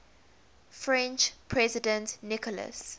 french president nicolas